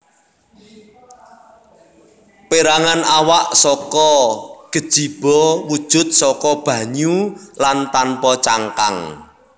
Perangan awak saka gejiba wujud saka banyu lan tanpa cangkang